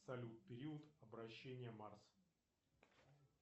салют период обращения марс